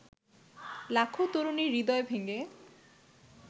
লাখো তরুণীর হৃদয় ভেঙে